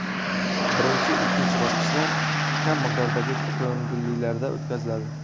Birinchi, ikkinchi bosqichlar kam miqdordagi ko‘ngillilarda o‘tkaziladi.